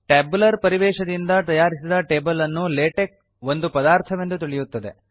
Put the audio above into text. tabular ಪರಿವೇಶದಿಂದ ತಯಾರಿಸಿದ table ಅನ್ನು ಲಾಟೆಕ್ಸ್ ಒಂದು ಪದಾರ್ಥವೆಂದು ತಿಳಿಯುತ್ತದೆ